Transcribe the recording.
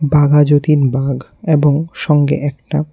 বাঘাযতীন বাঘ এবং সঙ্গে একটা--